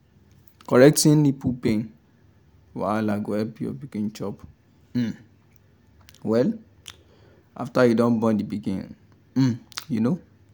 correcting nipple pain wahala go help your pikin chop um well after you don born the pikin um you know